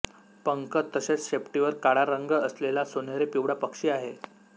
पंख तसेच शेपटीवर काळा रंग असलेला सोनेरी पिवळा पक्षी आहे